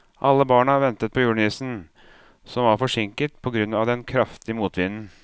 Alle barna ventet på julenissen, som var forsinket på grunn av den kraftige motvinden.